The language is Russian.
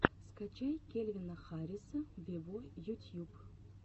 скачай кельвина харриса вево ютьюб